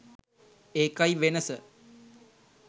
ඒකයි වෙනස.